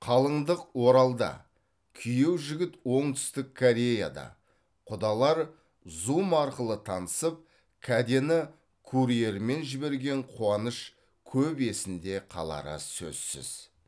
қалыңдық оралда күйеу жігіт оңтүстік кореяда құдалар зум арқылы танысып кәдені курьермен жіберген қуаныш көп есінде қалары сөзсіз